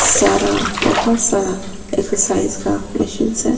सारा बहुत सारा एक्सरसाइज का मशीन्स है।